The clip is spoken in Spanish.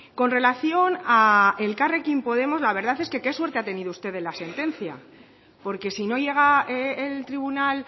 con relación a elkarrekin podemos la verdad es que qué suerte ha tenido usted de la sentencia porque si no llega el tribunal